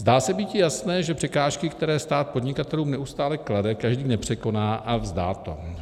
Zdá se býti jasné, že překážky, které stát podnikatelům neustále klade, každý nepřekoná a vzdá to.